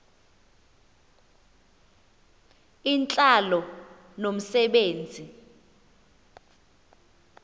intlalo nomse benzi